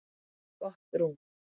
Gott rúm.